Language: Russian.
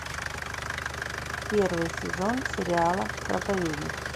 первый сезон сериала проповедник